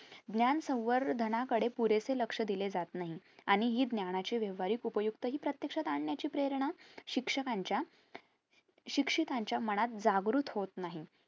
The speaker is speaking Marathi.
ज्ञान संवर्धनांकडे पुरेशे लक्ष दिले जात नाही आणि हि ज्ञानाची व्यावहारिक उपयुक्तहि प्रत्यक्षात आणण्याची प्रेरणा शिक्षकाच्या शिक्षितांच्या मनात जागृत होत नाही